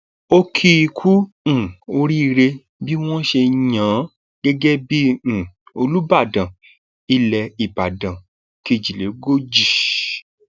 ó kì í kú um oríire bí wọn ṣe yàn án gẹgẹ bíi um olùbàdàn ilẹ ìbàdàn kejìlélógójì